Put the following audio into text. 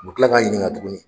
U bu kila k'an ɲininka tuguni.